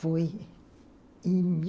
Foi em mil